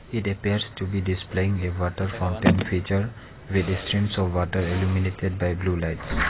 It appears to be displaying a water fountain feature with streams of water illuminated by blue lights.